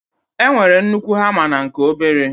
e nwere nnukwu hama na nke obere.